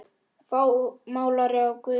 Málari af guðs náð.